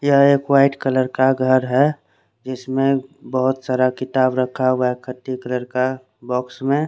यहाँ एक white colour का घर है जिसमे बहोत सारा किताब रखा हुआ है एकठी कर के बोक्स में--